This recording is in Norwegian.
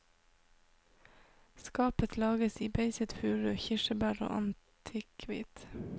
Skapet lages i beiset furu, kirsebær eller antikkhvitt.